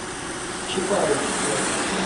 чапаевске